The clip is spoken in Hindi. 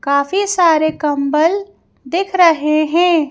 काफी सारे कंबल दिख रहे हैं।